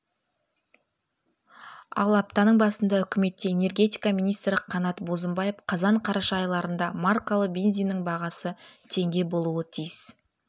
ал аптаның басында үкіметте энергетика министрі қанат бозымбаев қазан-қараша айларында маркалы бензиннің бағасы теңге болуы тиіс